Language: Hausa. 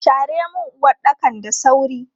Share mun uwaɗɗakan da sauri!